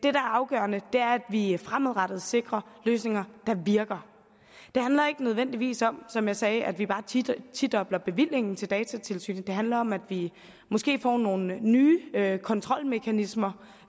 er afgørende er at vi fremadrettet sikrer løsninger der virker det handler ikke nødvendigvis om som jeg sagde at vi bare tidobler bevillingen til datatilsynet det handler om at vi måske får nogle nye kontrolmekanismer